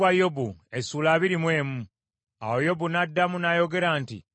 Awo Yobu n’addamu n’ayogera nti,